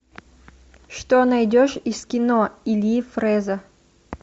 что найдешь из кино ильи фрэза